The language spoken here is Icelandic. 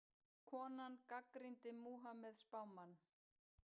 Konan gagnrýndi Múhameð spámann